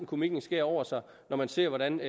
komikkens skær over sig når man ser hvordan